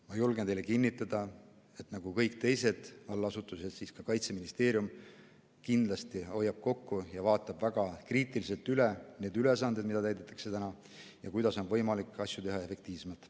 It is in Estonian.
Ma julgen teile kinnitada, et nagu kõik teised allasutused nii ka Kaitseministeerium kindlasti hoiab kokku ja vaatab väga kriitiliselt üle need ülesanded, mida täidetakse täna ja kuidas on võimalik asju teha efektiivsemalt.